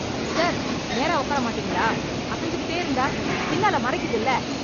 Sir, நேரா உக்கார மாட்டீங்களா? அசைஞ்சுக்கிடே இருந்தா பின்னால மறைக்குதுல்ல.